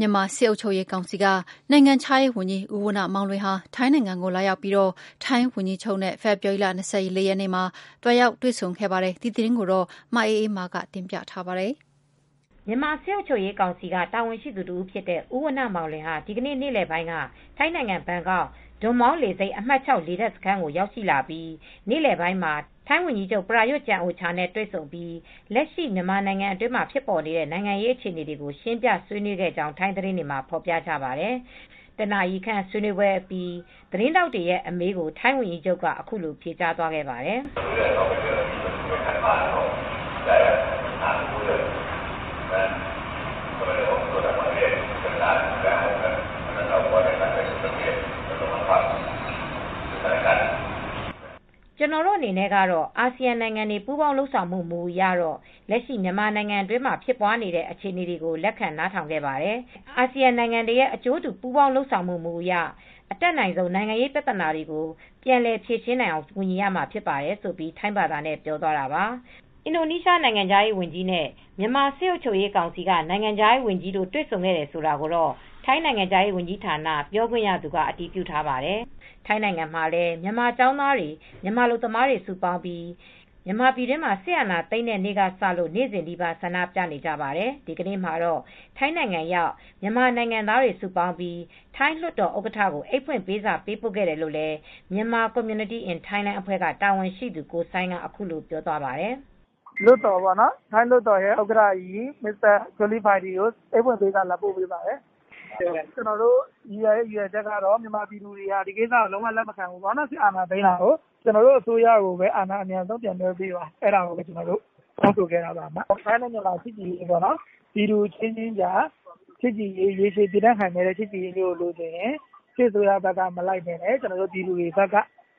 မြန်မာစစ်အုပ်ချုပ်ရေးကောင်စီက နိုင်ငံခြားရေးဝန်ကြီး ဦးဝဏ္ဏမောင်လွင်ဟာ ထိုင်းနိုင်ငံကိုလာရောက်ပြီး ထိုင်းဝန်ကြီးချုပ်နဲ့ ဖေဖေါ်ဝါရီလ ၂၄ ရက်နေ့ မှာ လာရောက်တွေ့ဆုံခဲ့တဲ့ သတင်းကို ဗွီအိုအေမြန်မာပိုင်း သတင်းထောက် မအေးအေးမာက ပြောပြပေးမှာပါ။ မြန်မာစစ်အုပ်ချုပ်ရေးကောင်စီက တာဝန်ရှိသူ တဦးဖြစ်တဲ့ ဦးဝဏ္ဏမောင်လွင်ဟာ ဒီကနေ့ နေ့လယ်ပိုင်းက ထိုင်းနိုင်ငံ ဘန်ကောက် ဒွန်မောင်း လေဆိပ် အမှတ် လေတပ်စခန်းကို ရောက်ရှိလာပြီး နေ့လယ်ပိုင်းမှာ ထိုင်းဝန်ကြီးချုပ် ပရာရွတ် ကျန်အိုချာနဲ့ တွေ့ဆုံပြီး လက်ရှိမြန်မာနိုင်ငံအတွင်းမှာ ဖြစ်ပေါ်နေတဲ့ နိုင်ငံရေးအခြေအနေကို ရှင်းပြဆွေးနွေးခဲ့ကြောင်း ထိုင်းသတင်းတွေမှာ ဖော်ပြကြတာပါ။ တနာရီခန့် ဆွေးနွေးပွဲအပြီး သတင်းထောက်တွေရဲ့ အမေးကို ထိုင်းဝန်ကြီးချုပ်က အခုလို ပြောဆိုသွားပါတယ်။ "ကျနော်တို့အနေနဲ့ကတော့ အာဆီယံနိုင်ငံတွေ ပူးပေါင်း လုပ်ဆောင်မှု မူအရတော့ လက်ရှိမြန်မာနိုင်ငံတွင်းမှာ ဖြစ်ပွားနေတဲ့ အခြေအနေတွေကို လက်ခံ နားထောင်ခဲ့ပါတယ်။ အာဆီယံနိုင်ငံတွေရဲ့ အကျိုးတူ ပူးပေါင်းလုပ်ဆောင်ရေးမှု မူအရ အတတ်နိုင်ဆုံး နိုင်ငံရေးပြဿနာတွေကို ပြန်လည်အောင်ဖြေရှင်းနိုင်အောင်ကူညီရမှာ ဖြစ်ပါတယ်။" ဆိုပြီးထိုင်းဘာသာနဲ့ပြောသွားတာပါ။ အင်ဒိုနီးရှားနိုင်ငံခြားရေးဝန်ကြီးနဲ့ မြန်မာစစ်အုပ်ချုပ်ရေးကောင်စီက နိုင်ငံခြားရေးဝန်ကြီးတို့ တွေဆုံခဲ့တယ်ဆိုတာကိုတော့ ထိုင်းနိုင်ငံခြားရေးဝန်ကြီးဌာန ပြောခွင့်ရသူက အတည်ပြုထားပါတယ်။ ထိုင်းနိုင်ငံမှာလည်း မြန်မာကျောင်းသားတွေ၊ မြန်မာအလုပ်သမားတွေက စုပေါင်းပြီး မြန်မာပြည်မှာ စစ်အာဏာသိမ်းတဲ့နေ့က စလို့ နေ့စဉ်နီးပါးဆန္ဒပြနေကြပါတယ်။ ဒီကနေ့မှာတော့ ထိုင်းနိုင်ငံရောက် မြန်မာနိုင်ငံသားတွေ စုပေါင်းပြီး ထိုင်းလွှတ်တော်ဥက္ကဋ္ဌကို အိတ်ဖွင့်ပေးစာပေးပို့ခဲ့တယ်လို့ Myanmar commyuity in Thailand အဖွဲ့က တာဝန်ရှိသူ ကိုစိုင်းက အခုလိုပြောသွားပါတယ်။ "ထိုင်းလွှတ်တော်ဥက္ကဋ္ဌကြီး ချွမ်လီပိုင်ကို အိတ်ဖွင့်ပေးစာပေးပို့ခဲ့ပါတယ်။ ကျနော်တို့ ရည်ရွယ်ချက်ကတော့ မြန်မာပြည်သူတွေဟာ ဒီကိစ္စကို လုံးဝလက်မခံဘူး။ အာဏာသိမ်းထားတာကို လက်မခံဘူး။ ကျနော်တို့ အစိုးရကို အာဏာလွဲှပြောင်းပေးပါ။ တောင်းဆိုခဲ့ပါတယ်။ ထိုင်းနဲ့ မြန်မာချစ်ကြည်ရေးအရ ထိုင်းနဲ့ မြန်မာ ပြည်သူအချင်းချင်း ရေရှည်တည်တံ့တဲ့ ဆက်ဆံရေးမျိုးကို လိုချင်တယ်။ စစ်အစိုးရဘက်က မလိုက်ဘဲ ကျနော်တို့ရဲ့ပြည်ထောင်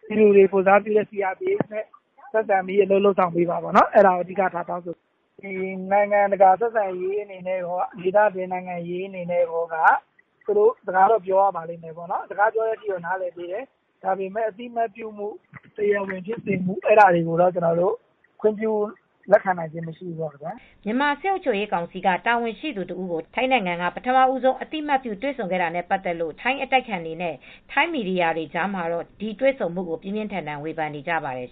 စုလွှတ်တော်ကိုယ်စားပြုကော်မတီ CRPH နဲ့ ဆက်ဆံပေးပါပေါ့နော်။ နိုင်ငံတကာဆက်ဆံရေး ဒေသတွင်း နိုင်ငံရေးအရ သူတို့ စကားပြောတာကို လက်ခံပေးတယ်။ ဒါပေမဲ့ အသိမှတ်ပြုမှု၊ တရားဝင်ဖြစ်စေမှု အဲဒါတွေကိုတော့ ကျနော်တို့ လက်ခံပေးလို့ မရဘူး။" မြန်မာစစ်အုပ်ချုပ်ရေးကောင်စီက တာဝန်ရှိသူ တဦးကို ထိုင်းနိုင်ငံက ပထမဦးဆုံး အသိမှတ်ပြုတွေ့ဆုံခဲ့တာနဲ့ ပတ်သက်လို့ ထိုင်းအတိုက်အခံတွေနဲ့ ထိုင်းမီဒီယာတွေကြားမှာတော့ ဒီတွေ့ဆုံမှုကို ပြင်းပြင်းထန်ထန်ဝေဖန်နေကြပါတယ်